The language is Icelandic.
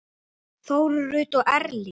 Þórunn Rut og Erling.